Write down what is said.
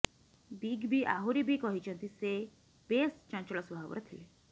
big B ଆହୁରି ବି କହିଛନ୍ତି ସେ ବେଶ୍ ଚଞ୍ଚଳ ସ୍ୱାଭାବର ଥିଲେ